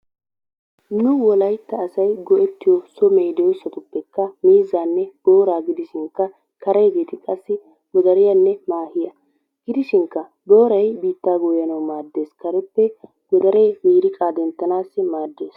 Nu wolaytta asay go'ettiyo so medosatuppekka mizzanne boraa gidishinkaa, karegettikaa qassi, godariyanne mahiyaa gidishinika boraay qaasi bittaa goyanawu maddess, kareppe godaree miriqqaa denttanawu madessi.